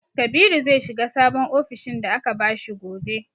Kabiru zai shiga sabon ofishin da aka bashi gobe.